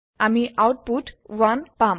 আমি আওতপুত 1 পাম